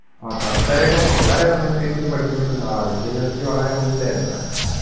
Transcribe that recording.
പത്തു വരെ ഒക്കെ വളരെ നല്ല രീതിക്ക് പഠിച്ചോണ്ട് ഇരുന്ന ആളാ വിദ്യാഭ്യാസത്തിൽ വളരെ മുന്നിൽ ആരുന്നു അവൻ.